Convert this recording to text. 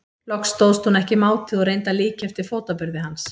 Loks stóðst hún ekki mátið og reyndi að líkja eftir fótaburði hans.